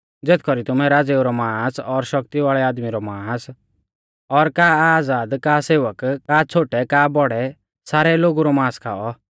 ज़ेथ कौरी तुमै राज़ेऊ रौ मांस और शक्ति वाल़ै आदमी रौ मांस और घोड़ेऊ रौ और तिऊं माथै बोशै औन्देऊ रौ मांस और का आज़ाद का सेवक का छ़ोटै का बौड़ै सारै लोगु रौ मांस खाऔ